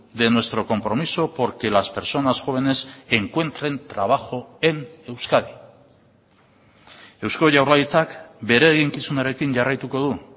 de nuestro compromiso por que las personas jóvenes encuentren trabajo en euskadi eusko jaurlaritzak bere eginkizunarekin jarraituko du